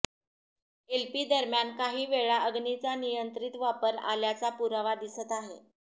LP दरम्यान काही वेळा अग्नीचा नियंत्रित वापर आल्याचा पुरावा दिसत आहे